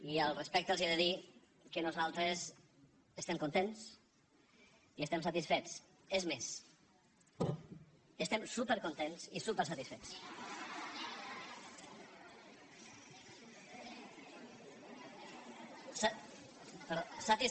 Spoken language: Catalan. i respecte a això els he de dir que nosaltres estem contents i estem satisfets és més estem supercontents i supersatisfets